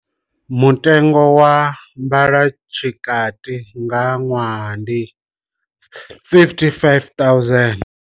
Mutengo wa mbalotshikati nga ṅwaha ndi R55 000.